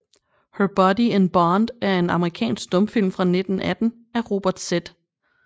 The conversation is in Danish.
Her Body in Bond er en amerikansk stumfilm fra 1918 af Robert Z